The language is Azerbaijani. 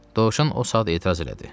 Dovşan o saat etiraz elədi.